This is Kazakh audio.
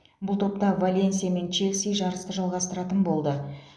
бұл топта валенсия мен челси жарысты жалғастыратын болды